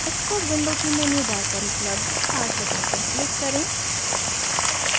xcos window की menu bar पर उपलब्ध start बटन पर क्लिक करें